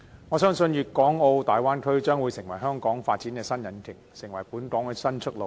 我相信粵港澳大灣區將會成為香港發展的新引擎，成為本港的新出路。